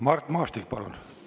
Mart Maastik, palun!